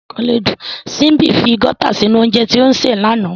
Simbi fi Gauta sinu ounjẹ ti o ṣe lana.